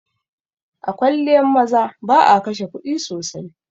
A kwalliyan maza ba'a kashe kuɗi sosai.